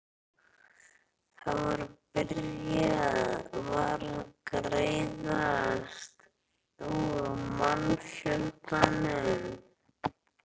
Það var byrjað var að greiðast úr mannfjöldanum.